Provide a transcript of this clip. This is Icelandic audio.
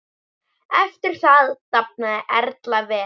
Eftir þetta dafnaði Erla vel.